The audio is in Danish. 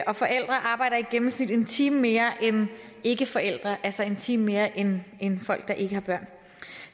og forældre arbejder i gennemsnit en time mere end ikkeforældre altså en time mere end end folk der ikke har børn